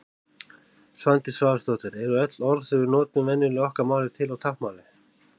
Svandís Svavarsdóttir Eru öll orð sem við notum venjulega í okkar máli til á táknmáli?